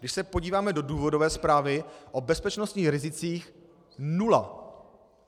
Když se podíváme do důvodové zprávy, o bezpečnostních rizicích nula.